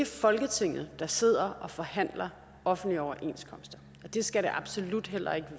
folketinget der sidder og forhandler offentlige overenskomster og det skal det absolut heller ikke